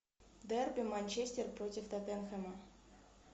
дерби манчестер против тоттенхэма